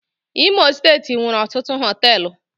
Imo steeti nwere ọtụtụ Họtelu